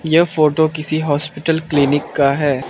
यह फोटो किसी hospital clinic का है।